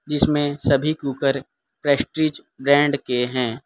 जिसमें सभी cooker Prestige brand के हैं।